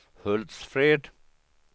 Hultsfred